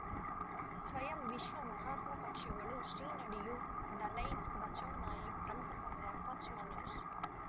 ಸ್ವಯಂ ವಿಶ್ವ ಮಹಾತ್ಮ ಪಕ್ಷಗಳು ಶ್ರೀ ನಡೆಯೂ ದಲೈ ಬಚೌ ನಾಯಕ್ ಪ್ರಮುಖ ಸಂಘ ಕಚ್ ಮನೋಜ್